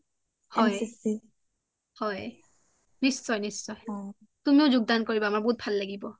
হয় NCC হয় নিশ্চয় নিচ্ছয় তুমিও যোগদান কৰিবা আমাৰ বহুত ভাল লাগিব